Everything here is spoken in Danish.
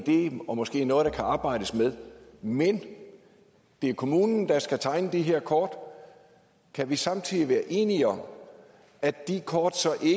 i det og måske noget der kan arbejdes med men det er kommunen der skal tegne de her kort kan vi samtidig være enige om at de kort så